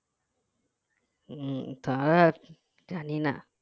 উম তা আর জানিনা